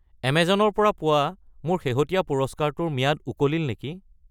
Amazon ৰ পৰা পোৱা মোৰ শেহতীয়া পুৰস্কাৰটোৰ ম্যাদ উকলিল নেকি?